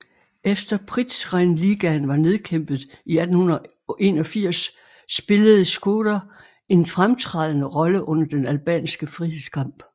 Etter Prizrenligaen var nedkæmpet i 1881 spillede Shkodër en fremtrædende rolle under den albanske frihedskamp